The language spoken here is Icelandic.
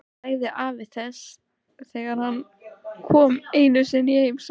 sagði afi þess þegar hann kom einu sinni í heimsókn.